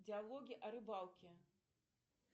диалоги о рыбалке